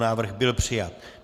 Návrh byl přijat.